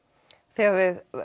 þið hafið